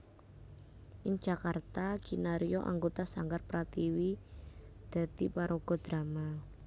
Ing Jakarta kinarya anggota Sanggar Prativi dadi paraga drama